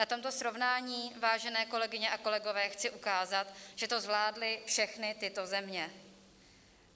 Na tomto srovnání, vážené kolegyně a kolegové, chci ukázat, že to zvládly všechny tyto země.